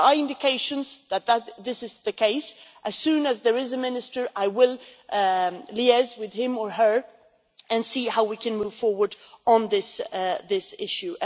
There are indications that this is the case and as soon as there is a minister I will liaise with him or her, and see how we can move forward on this issue.